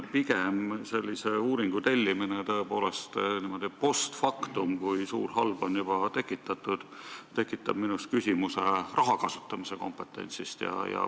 Pigem tekitab sellise uuringu tellimine tõepoolest niimoodi post factum, kui suur halb on juba tekitatud, minus küsimuse raha kasutamise kompetentsi kohta.